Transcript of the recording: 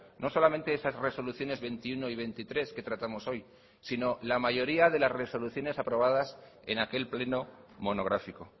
no solamente esas resoluciones veintiuno y veintitrés que tratamos hoy sino la mayoría de las resoluciones aprobadas en aquel pleno monográfico